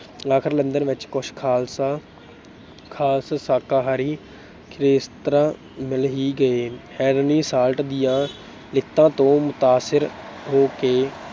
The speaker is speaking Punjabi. ਆਖਰ ਲੰਡਨ ਵਿੱਚ ਕੁਛ ਖਾਲਸਾ ਅਹ ਖਾਸ ਸ਼ਾਕਾਹਾਰੀ ਹੈਸਤਰਾਂ ਮਿਲ ਹੀ ਗਏ। Henry Salt ਦੀਆਂ ਲਿਖਤਾਂ ਤੋਂ ਮੁਤਾਸਰ ਹੋ ਕੇ